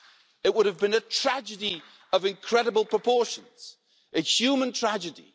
It would have been a tragedy of incredible proportions, a human tragedy.